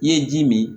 I ye ji min